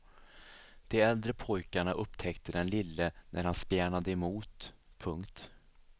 De äldre pojkarna upptäckte den lille när han spjärnade emot. punkt